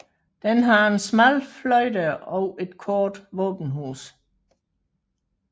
Den har en smal fløjdør og et kort våbenhus